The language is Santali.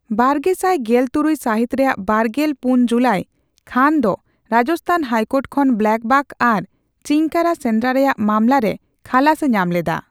ᱵᱟᱨᱜᱮᱥᱟᱭ ᱜᱮᱞ ᱛᱩᱨᱩᱭ ᱥᱟᱹᱦᱤᱛ ᱨᱮᱭᱟᱜ ᱵᱟᱨᱜᱮᱞ ᱯᱩᱱ ᱡᱩᱞᱟᱹᱭ ᱠᱷᱟᱱ ᱫᱚ ᱨᱟᱡᱚᱥᱛᱷᱟᱱ ᱦᱟᱭᱠᱳᱨᱴ ᱠᱷᱚᱱ ᱵᱞᱟᱠᱵᱟᱠ ᱟᱨ ᱪᱤᱝᱠᱟᱨᱟ ᱥᱮᱸᱫᱽᱨᱟ ᱨᱮᱭᱟᱜ ᱢᱟᱢᱞᱟ ᱨᱮ ᱠᱷᱟᱞᱟᱥᱮ ᱧᱟᱢ ᱞᱮᱫᱟ ᱾